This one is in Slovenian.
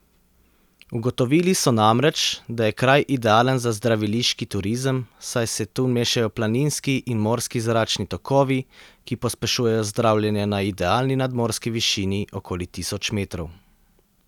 Ugotovili so namreč, da je kraj idealen za zdraviliški turizem, saj se tu mešajo planinski in morski zračni tokovi, ki pospešujejo zdravljenje na idealni nadmorski višini okoli tisoč metrov.